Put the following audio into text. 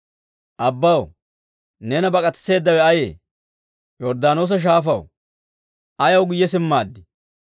Abbaw, neena bak'atisseedawe ayee? Yorddaanoosa Shaafaw, ayaw guyye simmaaddii?